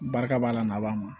Barika b'a la b'a ma